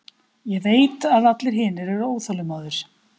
Ég veit að allir hinir eru óþolinmóðir.